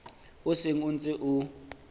o seng o ntse o